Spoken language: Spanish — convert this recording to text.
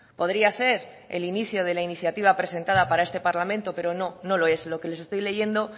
podría ser el inicio de la iniciativa presentada para este parlamento pero no no lo es lo que les estoy leyendo